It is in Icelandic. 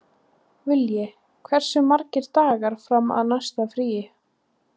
Vilji, hversu margir dagar fram að næsta fríi?